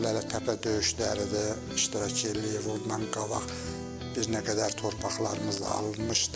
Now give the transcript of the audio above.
Lələtəpə döyüşlərində iştirak eləyib, ondan qabaq bir nə qədər torpaqlarımızda alınmışdı.